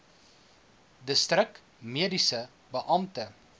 distrik mediese beampte